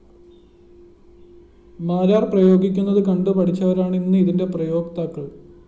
മാരാര്‍ പ്രയോഗിക്കുന്നത് കണ്ടു പഠിച്ചവരാണ് ഇന്ന് ഇതിന്റെ പ്രയോക്താക്കള്‍